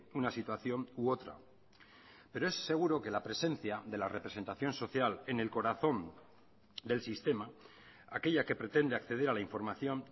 una situación u otra pero es seguro que la presencia de la representación social en el corazón del sistema aquella que pretende acceder a la información